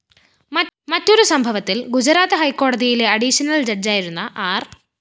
മറ്റൊരു സംഭവത്തില്‍ ഗുജറാത്ത് ഹൈക്കോടതിയിലെ അഡീഷണൽ ജഡ്ജായിരുന്ന ആര്‍